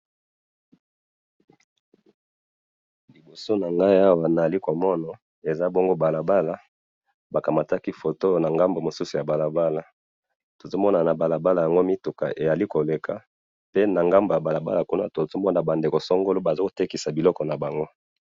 libosa nangayi awa nazali ko mona eza bongo balabala bakamataki photo na ngambo musu ya balabala tozo mona na balabala yango mituka ezali koleka pe' na ngambo ya balabala kuna tozo mona ba ndeko songolo bazo tekisa biloko na bango